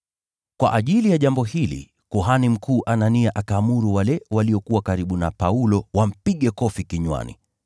Kwa ajili ya jambo hili kuhani mkuu Anania akaamuru wale waliokuwa karibu na Paulo wampige kofi kinywani.